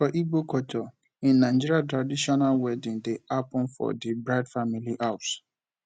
for igbo culture in nigeria traditional wedding de happen for di bride family house